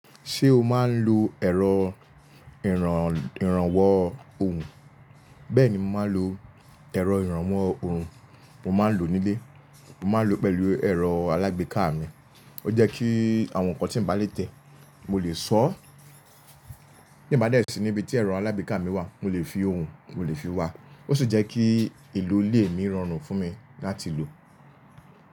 Ṣé o máa ń lo ẹ̀rọ ìrànwọ́ ohùn? Bẹ́ẹ̀ni mo máa ń lo ẹ̀rọ ìrànwọ́ ohùn. Mo máa ń lo nílé, mo máa ń lo pẹ̀lú ẹ̀rọ alágbèéká mi. Ó jẹ́ kí àwọn nǹkan tí mò bá lè tẹ̀ mo lè sọ̀ ọ́. Tin ba dẹ sí ni ibi tí ẹ̀rọ alágbèéká mi wà mo lè fi ohùn, mo lè fi wá. Ó sì jẹ́ kí ìlú lé ni irọrùn fún mi láti lò.